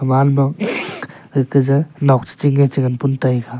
wall ma ga kah je nok che chinge che ngan pon taiga.